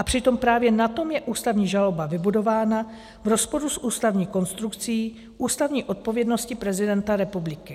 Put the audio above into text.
A přitom právě na tom je ústavní žaloba vybudována v rozporu s ústavní konstrukcí, ústavní odpovědností prezidenta republiky.